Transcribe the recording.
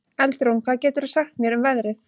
Eldrún, hvað geturðu sagt mér um veðrið?